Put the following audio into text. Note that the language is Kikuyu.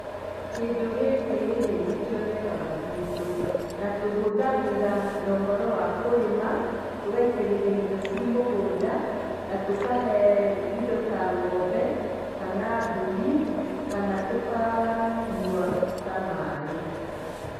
Kĩndũ gĩkĩ-rĩ, nĩkĩonekaga guitũ na tũhũthagĩra na ũhoro wa kũrĩma tũgaitĩrĩria irio ciĩ mũgũnda na tũkahe indo ta ng'ombe kana mbũri kana tũkanyua ta maĩ.